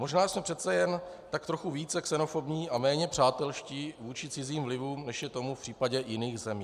Možná jsme přece jen tak trochu více xenofobní a méně přátelští vůči cizím vlivům, než je tomu v případě jiných zemí.